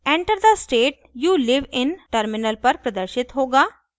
enter the state you live in: terminal पर प्रदर्शित होगा